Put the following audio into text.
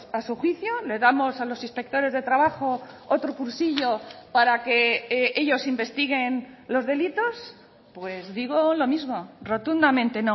a su juicio le damos a los inspectores de trabajo otro cursillo para que ellos investiguen los delitos pues digo lo mismo rotundamente